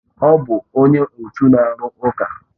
Ọ bụ onye otu na-arụ ụka